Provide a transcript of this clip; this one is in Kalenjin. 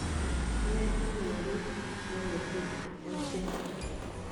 Ineto werit negetupche ochei